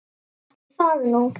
Ætli það nú.